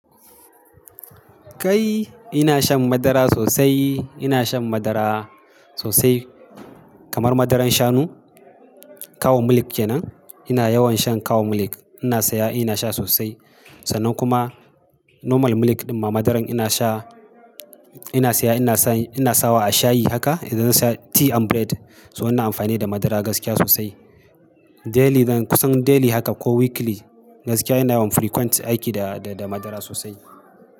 Kai ina shan madara sosai. Ina shan madara sosai kamar madaran shanu Cow Milk kenan. Ina yawan shan Cow Milk. Ina siya, ina sha sosai. Sannan kuma normal milk ɗin ma madaran ina sha, ina saya ina sa, ina sawa a shayi haka idan zan saya tea and bread. So ina amfani da madara gaskiya sosai. Daily, kusan daily haka ko weekly gaskiya ina yawan frequent aiki da, da madara sosai.